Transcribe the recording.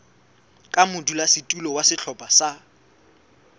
ka modulasetulo wa sehlopha sa